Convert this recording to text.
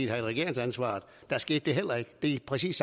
havde regeringsansvaret og der skete det heller ikke det er præcis